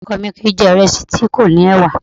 Ọkọ mi kìí jẹ̀ ìrẹsì tí kò ní ẹ̀wà